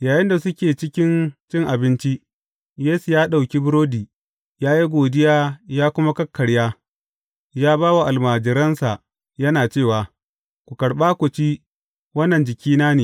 Yayinda suke cikin cin abinci, Yesu ya ɗauki burodi, ya yi godiya ya kuma kakkarya, ya ba wa almajiransa yana cewa, Ku karɓa ku ci; wannan jikina ne.